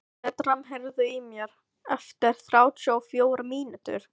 Bertram, heyrðu í mér eftir þrjátíu og fjórar mínútur.